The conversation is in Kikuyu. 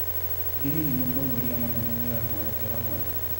ĩ hihi mũtongoria mũnene nĩoya mwerekera mwega?